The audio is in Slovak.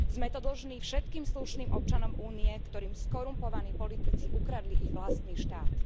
Sme to dlžní všetkým slušným občanom Únie, ktorým skorumpovaní politici ukradli ich vlastný štát.